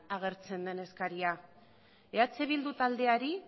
agertzen den eskaria eh bildu taldeari